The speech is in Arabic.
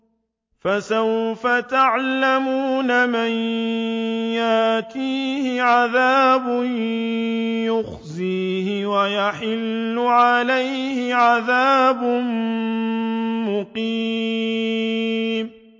فَسَوْفَ تَعْلَمُونَ مَن يَأْتِيهِ عَذَابٌ يُخْزِيهِ وَيَحِلُّ عَلَيْهِ عَذَابٌ مُّقِيمٌ